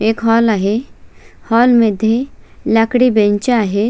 एक हॉल आहे हॉल मध्ये लाकडी बेंच आहे.